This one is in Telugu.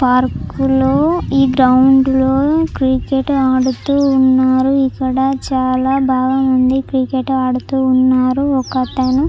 పార్కులో ఈ గ్రౌండ్లో క్రికెట్ ఆడుతూ ఉన్నారు. ఇక్కడ చాలామంది క్రికెట్ ఆడుతున్నారు. ఒక అతను--